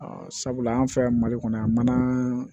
sabula an fɛ yan mali kɔnɔ yan manan